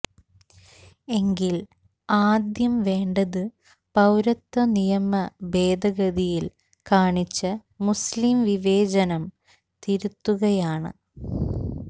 എങ്കിൽ ആദ്യം വേണ്ടത് പൌരത്വ നിയമ ഭേദഗതിയിൽ കാണിച്ച മുസ്ലിം വിവേചനം തിരുത്തുകയാണ്